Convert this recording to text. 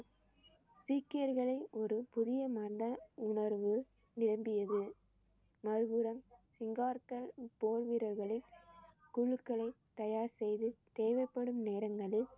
சீக்கியர்களை ஒரு புதிய உணர்வு நிரம்பியது மறுபுறம் போர் வீரர்களை குழுக்களை தயார் செய்து தேவைப்படும் நேரங்களில்